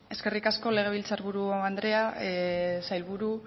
eskerrik asko legebiltzar buru andrea sailburu